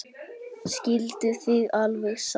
Skilduð þið alveg sáttir?